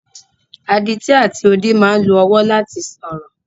Adití àti odi máa ń lo ọwọ́ láti sọ̀rọ̀.